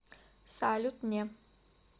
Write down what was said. салют не